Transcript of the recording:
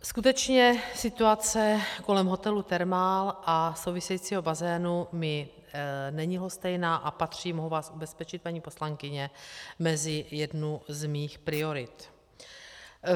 Skutečně situace kolem hotelu Thermal a souvisejícího bazénu mi není lhostejná a patří, mohu vás ubezpečit, paní poslankyně, mezi jednu z mých priorit.